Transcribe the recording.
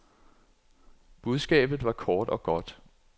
Budskabet var kort og godt.